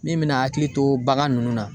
Min mina hakili to bagan nunnu na